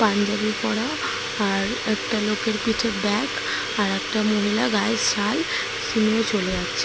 পাঞ্জাবি পরা আর একটা লোকের পিঠে ব্যাগ আর একটা মহিলা গায়ের সাল নিয়ে চলে যাচ্ছে ।